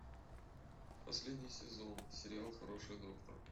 последний сезон сериал хороший доктор